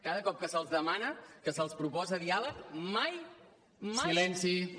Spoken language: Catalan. cada cop que se’ls demana que se’ls proposa diàleg mai mai